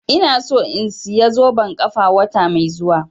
Ina so in saya zoben ƙafa wata mai zuwa